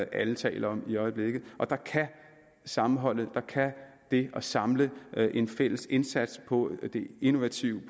alle taler om i øjeblikket og der kan sammenholdet der kan det at samle en fælles indsats på det innovative